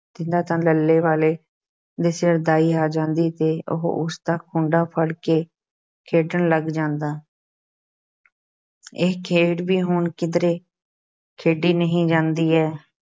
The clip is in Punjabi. ਦਿੰਦਾ ਤਾਂ ਲੱਲ੍ਹੇ ਵਾਲੇ ਦੇ ਸਿਰ ਦਾਈ ਆ ਜਾਂਦੀ ਤੇ ਉਹ ਉਸ ਦਾ ਖੂੰਡਾ ਫੜਕੇ ਖੇਡਣ ਲੱਗ ਜਾਂਦਾ ਇਹ ਖੇਡ ਵੀ ਹੁਣ ਕਿੱਧਰੇ ਖੇਡੀ ਨਹੀਂ ਜਾਂਦੀ ਹੈ।